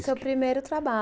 Foi o seu primeiro trabalho.